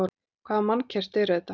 Hvaða mannkerti er þetta?